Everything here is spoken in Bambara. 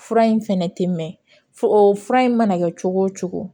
Fura in fɛnɛ tɛ mɛn fo fura in mana kɛ cogo o cogo